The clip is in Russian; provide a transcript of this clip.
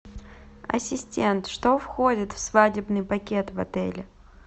ассистент что входит в свадебный пакет в отеле